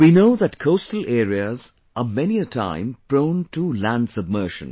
We know that coastal areas are many a time prone to land submersion